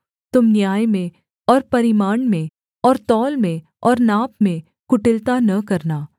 तुम न्याय में और परिमाण में और तौल में और नाप में कुटिलता न करना